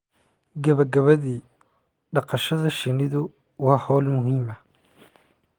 Gabagabadii, dhaqashada shinnidu waa hawl muhiim ah